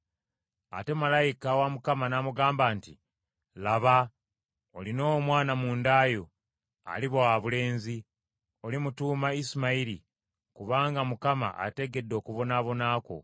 Ate malayika wa Mukama n’amugamba nti, “Laba, olina omwana mu nda yo, aliba wabulenzi, olimutuuma Isimayiri, kubanga Mukama ategedde okubonaabona kwo.